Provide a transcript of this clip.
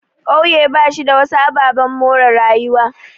Ƙauye bashi da wasu ababen more rayuwa.